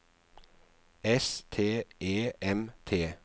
S T E M T